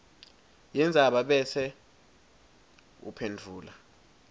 yendzaba bese uphendvula